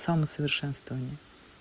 самосовершенствование